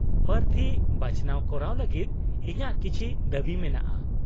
-ᱯᱨᱟᱨᱛᱷᱤ ᱵᱟᱪᱷᱱᱟᱣ ᱠᱚᱨᱟᱣ ᱞᱟᱹᱜᱤᱫ ᱤᱧᱟᱹᱜ ᱠᱤᱪᱷᱤ ᱫᱟᱹᱵᱤ ᱢᱮᱱᱟᱜᱼᱟ ᱾